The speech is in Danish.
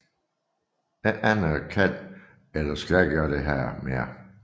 Ingen anden kan eller skal gøre dette mere